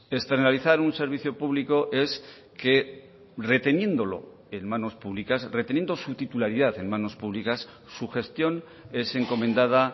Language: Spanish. externalizar un servicio público es que reteniéndolo en manos públicas reteniendo su titularidad en manos públicas su gestión es encomendada